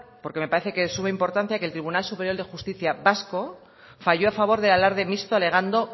porque me parece que es de suma importancia que el tribunal superior de justicia vasco falló a favor del alarde mixto alegando